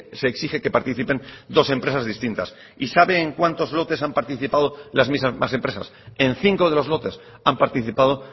se exige que participen dos empresas distintas y sabe en cuántos lotes han participado las mismas empresas en cinco de los lotes han participado